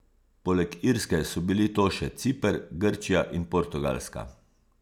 Poleg Irske so bili to še Ciper, Grčija in Portugalska.